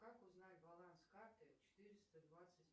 как узнать баланс карты четыреста двадцать